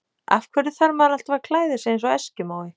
Af hverju þarf maður alltaf að klæða sig eins og eskimói?